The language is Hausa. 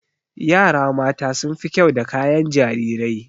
Yara mata sun fi kyau da kayan jarirai.